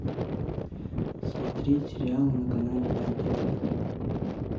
смотреть сериалы на канале нтв